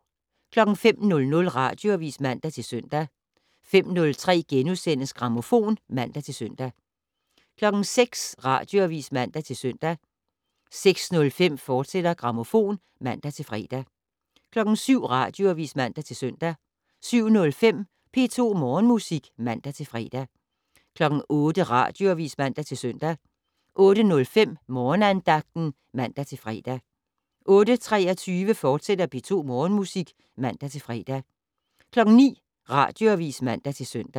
05:00: Radioavis (man-søn) 05:03: Grammofon *(man-søn) 06:00: Radioavis (man-søn) 06:05: Grammofon, fortsat (man-fre) 07:00: Radioavis (man-søn) 07:05: P2 Morgenmusik (man-fre) 08:00: Radioavis (man-søn) 08:05: Morgenandagten (man-fre) 08:23: P2 Morgenmusik, fortsat (man-fre) 09:00: Radioavis (man-søn)